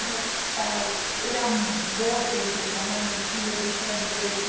Meu pai era um bote, se chama no Chile, de sorvete.